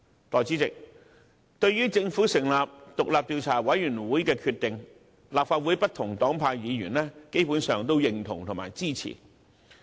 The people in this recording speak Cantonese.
代理主席，對於政府成立獨立調查委員會的決定，立法會內不同黨派的議員基本上予以認同和支持。